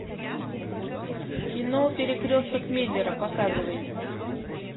кино перекресток миллера показывай